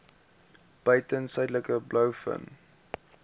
buiten suidelike blouvin